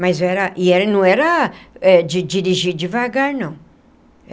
Mas era e era não era de dirigir devagar, não.